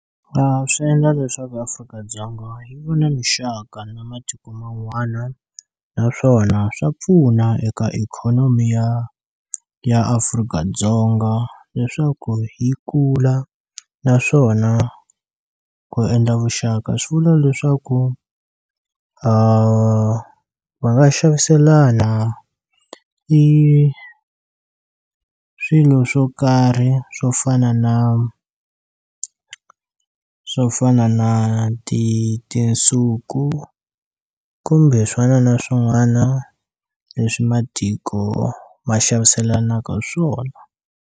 Swi endla leswaku Afrika-Dzonga yi va na mixaka na matiko man'wana naswona swa pfuna eka ikhonomi ya ya Afrika-Dzonga leswaku yi kula naswona ku endla vuxaka swi vula leswaku va nga xaviselana i swilo swo karhi swo fana na swo fana na ti tinsuku kumbe swin'wana na swin'wana leswi matiko va xaviselanaka swona.